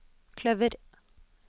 kløver